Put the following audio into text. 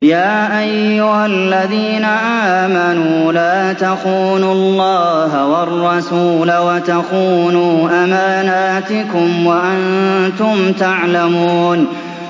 يَا أَيُّهَا الَّذِينَ آمَنُوا لَا تَخُونُوا اللَّهَ وَالرَّسُولَ وَتَخُونُوا أَمَانَاتِكُمْ وَأَنتُمْ تَعْلَمُونَ